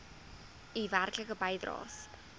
u werklike bydraes